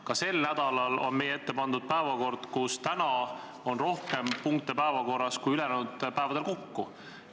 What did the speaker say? Ka sel nädalal on meie ette pandud päevakord, kus täna on kavas rohkem punkte kui ülejäänud päevadel kokku.